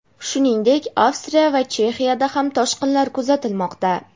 shuningdek Avstriya va Chexiyada ham toshqinlar kuzatilmoqda.